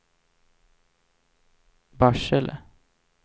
Barsele